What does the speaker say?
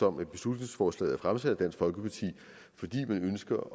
om at beslutningsforslaget er fremsat af dansk folkeparti fordi man ønsker